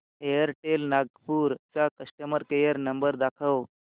Airtel Nagpur चा customer care number दाखव